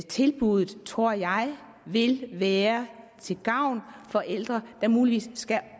tilbuddet tror jeg vil være til gavn for ældre der muligvis skal